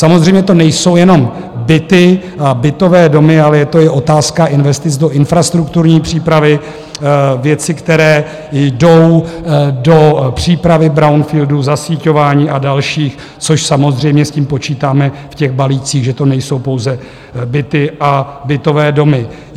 Samozřejmě to nejsou jenom byty a bytové domy, ale je to i otázka investic do infrastrukturní přípravy, věci, které jdou do přípravy brownfieldů, zasíťování a další, což samozřejmě s tím počítáme v těch balících, že to nejsou pouze byty a bytové domy.